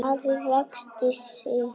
Ari ræskti sig.